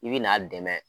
I bi n'a dɛmɛ